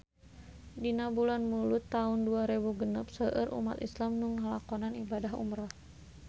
Dina bulan Mulud taun dua rebu genep seueur umat islam nu ngalakonan ibadah umrah